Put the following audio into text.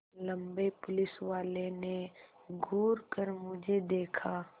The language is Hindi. लम्बे पुलिसवाले ने घूर कर मुझे देखा